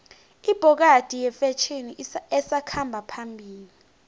ibhokadi yifetjheni esakhamba phambili